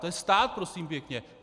To je stát, prosím pěkně.